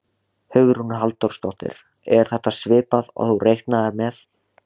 Hugrún Halldórsdóttir: Er þetta svipað og þú reiknaðir með?